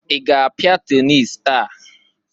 I ga-apịa tenis taa?